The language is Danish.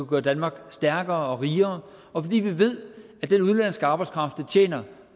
gøre danmark stærkere og rigere og fordi vi ved at den udenlandske arbejdskraft der tjener